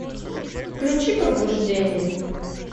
включи пробуждение